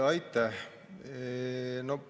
Aitäh!